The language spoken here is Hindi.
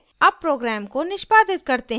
अब program को निष्पादित करते हैं